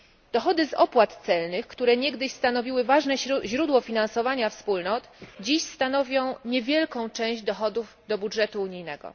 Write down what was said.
Dochody z opłat celnych, które niegdyś stanowiły ważne źródło finansowania Wspólnot, dziś stanowią niewielką część dochodów budżetu unijnego.